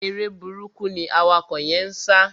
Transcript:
Eré burúkú ni awakọ̀ yẹ́n ń sá.